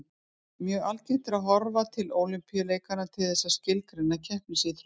Mjög algengt er að horfa til Ólympíuleikanna til þess að skilgreina keppnisíþróttir.